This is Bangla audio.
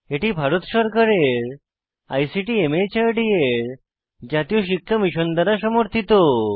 এটি ভারত সরকারের আইসিটি মাহর্দ এর জাতীয় সাক্ষরতা মিশন দ্বারা সমর্থিত